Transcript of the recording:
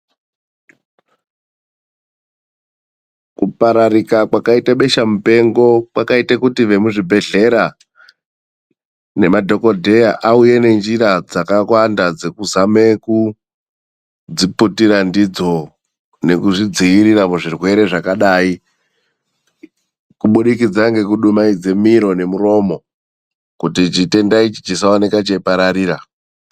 Kupararika kwakaite besha mupengo ,kwakaite kuti vemuzvibhehleya nemadhokodheya vauye nenjira dzakawanda dzekuzame kuzviputira ndidzo nekudzivirira denda rineri .Njira dzakhona dzinosanganganisire kudumaidza miro nemuromo kuti denda risa angire kupararira.